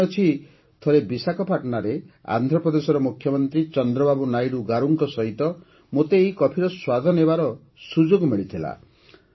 ମୋର ମନେଅଛି ଥରେ ବିଶାଖାପାଟଣାରେ ଆନ୍ଧ୍ରପ୍ରଦେଶର ମୁଖ୍ୟମନ୍ତ୍ରୀ ଚନ୍ଦ୍ରବାବୁ ନାଇଡ଼ୁ ଗାରୁଙ୍କ ସହିତ ମୋତେ ଏହି କଫିର ସ୍ୱାଦ ନେବାର ସୁଯୋଗ ମିଳିଥିଲା